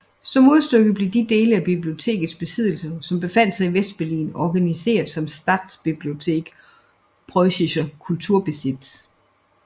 Som modstykke blev de dele af bibliotekets besiddelser som befandt sig i Vestberlin organiseret som Staatsbibliothek Preußischer Kulturbesitz